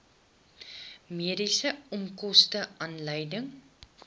mediese onkoste aanleiding